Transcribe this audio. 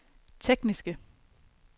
tekniske